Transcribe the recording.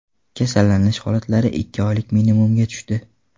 Kasallanish holatlari ikki oylik minimumga tushdi.